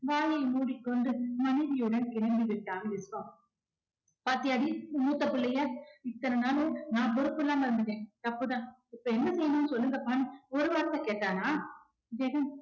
வாயை மூடிக்கொண்டு மனைவியுடன் கிளம்பி விட்டான் விஸ்வா பாத்தியாடி உன் மூத்த புள்ளைய இத்தனை நாளும் நான் பொறுப்பில்லாம இருந்துட்டேன் தப்புதான் இப்ப என்ன செய்யணும்னு சொல்லுங்கப்பான்னு ஒரு வார்த்தை கேட்டானா ஜெகன்